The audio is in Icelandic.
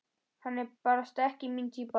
Hann er barasta ekki mín týpa.